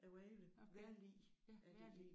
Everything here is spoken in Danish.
Vejret vejrlig er det egentlig